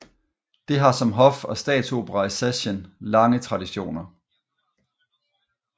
Det har som hof og statsopera i Sachsen lange traditioner